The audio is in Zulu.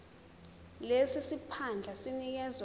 lesi siphandla sinikezwa